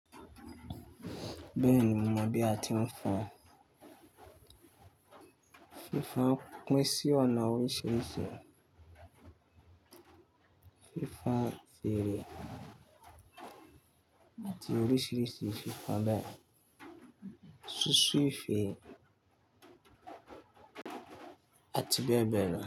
Bẹ́ẹ̀ni, mo mọ̀ bí a ti ń fọn. Fífan pín sí ọ̀nà oríṣiríṣi. Fífan fèrè àti oríṣiríṣi fífan bẹ́ẹ̀. Susu ife àti bẹ́ẹ̀ bẹ́ẹ̀ lọ.